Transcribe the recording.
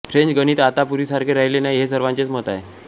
French गणित आता पूर्वीसारखे राहिले नाही हे सर्वांचेच मत होते